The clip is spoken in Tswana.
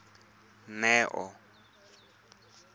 neo